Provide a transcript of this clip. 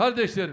Qardaşlarım,